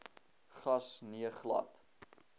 gas nee glad